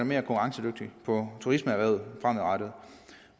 mere konkurrencedygtig på turismeerhvervet fremadrettet